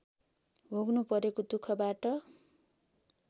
भोग्नु परेको दुःखबाट